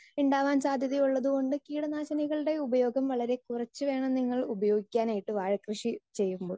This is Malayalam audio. സ്പീക്കർ 2 ഉണ്ടാവാൻ സാധ്യത ഉള്ളത് കൊണ്ട് ഒക്കെയാണ് കീടനാശിനികളുടെ ഉപയോഗം വളരേ കുറച്ച് വേണം നിങ്ങൾ ഉപയോഗിക്കുവാനായിട്ട് വാഴ കൃഷി ചെയ്യുമ്പോൾ